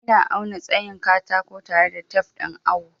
Ina auna tsayin katako tare da tef ɗin awo.